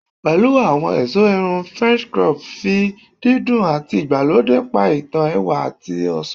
Pẹ̀lẹ́ àwọn ẹ̀sọ́ irun french crop, fi dídùn àti ìgbàlódé pa ìtàn ẹwà àti ọ̀ṣọ́